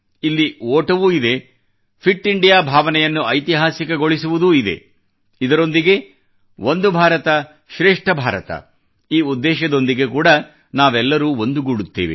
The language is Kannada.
ಇಲ್ಲಿ ಓಟವೂ ಇದೆ ಫಿಟ್ ಇಂಡಿಯಾ ಭಾವನೆಯನ್ನು ಐತಿಹಾಸಿಕಗೊಳಿಸುವುದೂ ಇದೆ ಇದರೊಂದಿಗೆ ಒಂದು ಭಾರತ ಶ್ರೇಷ್ಠ ಭಾರತ ಈ ಉದ್ದೇಶದೊಂದಿಗೆ ಕೂಡಾ ನಾವೆಲ್ಲರೂ ಒಂದುಗೂಡುತ್ತೇವೆ